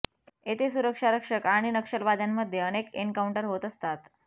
येथे सुरक्षा रक्षक आणि नक्षलवाद्यांमध्ये अनेक एनकाउंटर होत असतात